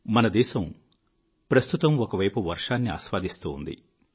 మనదేశం ప్రస్తుతం ఒకవైపు వర్షాన్ని ఆస్వాదిస్తూ ఉంది